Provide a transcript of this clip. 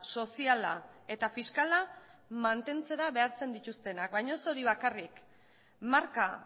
soziala eta fiskala mantentzera behartzen dituztenak baina ez hori bakarrik marka